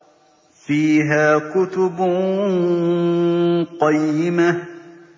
فِيهَا كُتُبٌ قَيِّمَةٌ